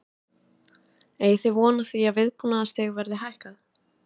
Eigið þið von á því að viðbúnaðarstig verði hækkað?